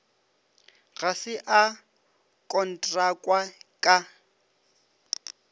ga se a kontrakwa ka